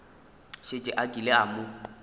šetše a kile a mo